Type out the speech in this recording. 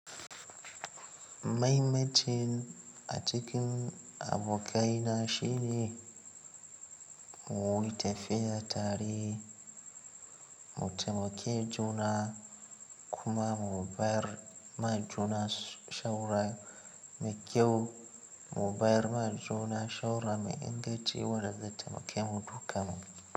Mahimmacin a cikin abokaina shine mu yi tafiya tare, mu taimake juna kuma mu bayar ma juna shawarar mai kyau, mu bayar ma juna shawarar mai inganciwa da zai taimake mu dukanmu.